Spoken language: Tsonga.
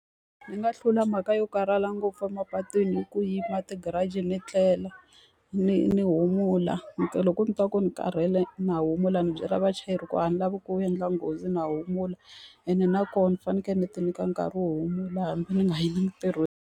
Ni nga hlula mhaka yo karhala ngopfu emapatwini hi ku yima ti-garage ni tlela ni ni humula. loko ndzi twa ku ni karhele na humula ni byela vachayeri ku a ni lavi ku endla nghozi na humula. Ene nakona ni fanekele ni ti nyika nkarhi wo humula hambi ni nga yi entirhweni.